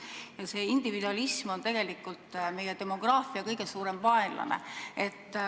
Ja see individualism ongi meie demograafia kõige suurem vaenlane.